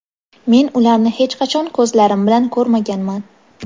men ularni hech qachon ko‘zlarim bilan ko‘rmaganman.